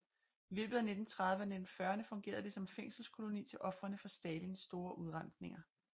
I løbet af 1930 og 1940erne fungerede det som fængselskoloni til ofrene for Stalins store udrensninger